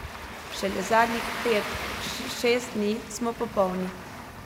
Šele zadnjih pet, šest dni smo popolni.